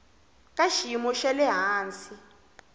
ka xiyimo xa le hansi